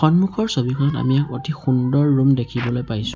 সন্মুখৰ ছবিখনত আমি এক অতি সুন্দৰ ৰুম দেখিবলৈ পাইছোঁ।